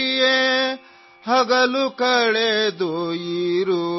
मेरे समझदार लाडले सो जाओ